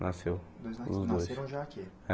Nasceu os dois nasceram já aqui? É